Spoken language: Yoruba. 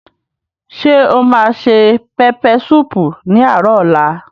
Ṣé o ma se pẹpẹ súùpù ní àárò ọ̀la?